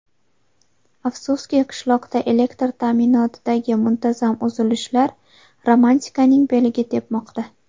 Afsuski, qishloqda elektr ta’minotidagi muntazam uzilishlar romantikaning beliga tepmoqda.